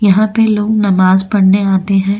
यहां पे लोग नमाज पढ़ने आते हैं।